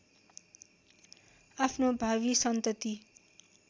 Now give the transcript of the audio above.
आफ्नो भावी सन्तति